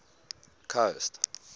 coast